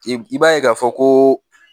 I b'a ye k'a fɔ koo